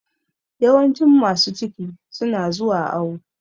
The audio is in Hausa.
Yawancin masu ciki su na zuwa awo